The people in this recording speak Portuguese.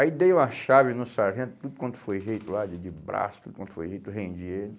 Aí dei uma chave no sargento, tudo quanto foi jeito lá, de de braço, tudo quanto foi jeito, rendi ele,